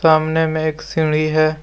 तामने में एक सीढ़ी है।